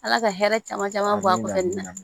Ala ka hɛrɛ caman caman bɔ a kunna